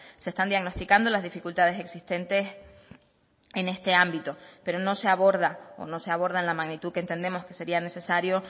se están diagnosticando las dificultades existentes en este ámbito pero no se aborda o no se aborda en la magnitud que entendemos que sería necesario